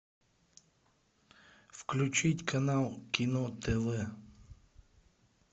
включить канал кино тв